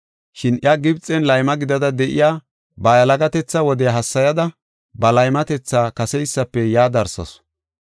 Shin iya Gibxen layma gidada de7iya, ba yalagatetha wodiya hassayada, ba laymatetha kaseysafe yaa darsasu.